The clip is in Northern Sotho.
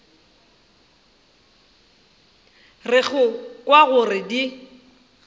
re go kwa gore di